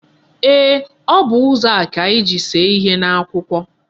Eeh, O bu ụzọ a ka anyi ji see ihe n'akwụkwọ.